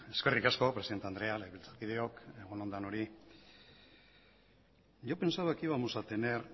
eskerrik asko presidenta andrea legebiltzakideok egun on denoi yo pensaba que íbamos a tener